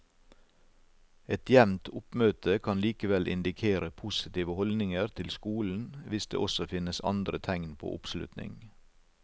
Et jevnt oppmøte kan likevel indikere positive holdninger til skolen hvis det også finnes andre tegn på oppslutning.